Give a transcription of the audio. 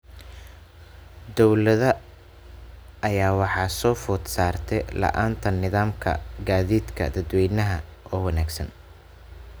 Dowladda ayaa waxaa soo food saartay la�aanta nidaamka gaadiidka dadweynaha oo wanaagsan.